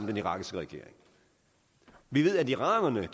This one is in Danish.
den irakiske regering vi ved at iranerne